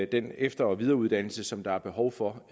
den efter og videreuddannelse som der er behov for